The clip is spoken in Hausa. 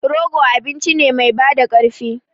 Rogo abinci ne mai bada ƙarfi.